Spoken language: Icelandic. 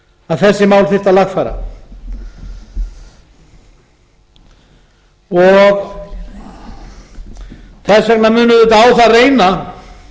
að þessi mál þyrfti að lagfæra þess vegna mun auðvitað á það reyna